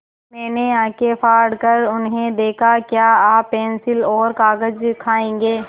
मैंने आँखें फाड़ कर उन्हें देखा क्या आप पेन्सिल और कागज़ खाएँगे